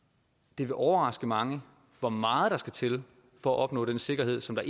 det vil overraske mange hvor meget der skal til for at opnå den sikkerhed som der